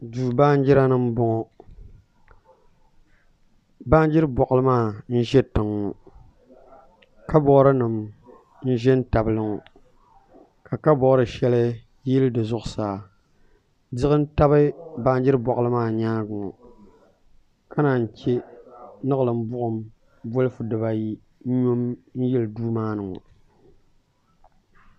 Duu baanjira ni n bɔŋɔ baanjiri boɣali maa n ʒi tiŋ ŋɔ kabood nim n ʒi n tabili ŋɔ ka kabood shɛli yili di zuɣusaa diɣi n tabi baajiri boɣali maa nyaangi ŋɔ ka naan yi chɛ niɣilim buɣum bolfu dibayi n nyo n yili duu maa ni ŋɔ